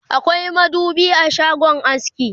akwai madubi a shagon aski